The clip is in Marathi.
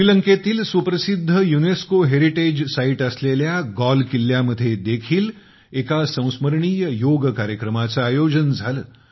श्रीलंकेतील सुप्रसिद्ध युनेस्को हेरिटेज साइट असलेल्या गॉल किल्ल्यामध्ये देखील एक संस्मरणीय योग कार्यक्रमाचे आयोजन झाले